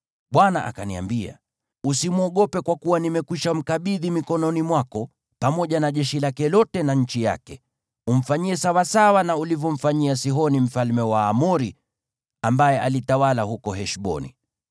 Bwana akaniambia, “Usimwogope kwa kuwa nimekwisha mkabidhi mikononi mwako pamoja na jeshi lake lote na nchi yake. Umfanyie sawasawa na ulivyomfanyia Sihoni mfalme wa Waamori, ambaye alitawala huko Heshboni.”